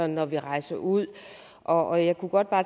når vi rejser ud og jeg kunne godt